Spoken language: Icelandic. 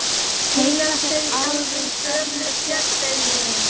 Heyra þeir alveg í gömlu bjöllunni?